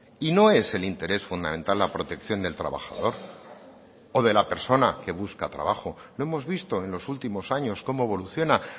y no es el interés fundamental la protección del trabajador o de la persona que busca trabajo lo hemos visto en los últimos años cómo evoluciona